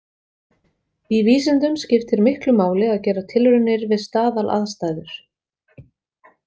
Í vísindum skiptir miklu máli að gera tilraunir við staðalaðstæður.